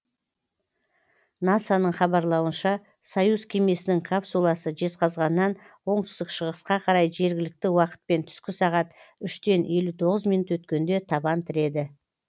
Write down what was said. наса ның хабарлауынша союз кемесінің капсуласы жезқазғаннан оңтүстік шығысқа қарай жергілікті уақытпен түскі сағат үштен елу тоғыз минут өткенде табан тіреді